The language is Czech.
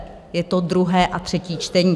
Je to druhé a třetí čtení.